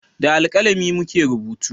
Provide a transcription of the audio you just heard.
Da alkalami mu ke rubutu